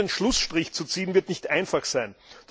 Hier einen Schlussstrich zu ziehen, wird nicht einfach sein.